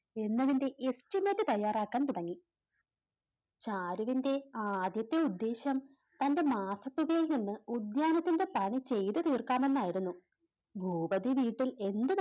എന്നതിൻറെ Estimate തയ്യാറാക്കാൻ തുടങ്ങി ചാരുവിൻറെ ആദ്യത്തെ ഉദ്ദേശം തൻറെ മാസത്തുകയിൽ നിന്ന് ഉദ്യാനത്തിൻറെ പണി ചെയ്തത് തീർക്കാമെന്നായിരുന്നു ഭൂപതി വീട്ടിൽ എന്ത്